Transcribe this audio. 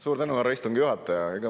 Suur tänu, härra istungi juhataja!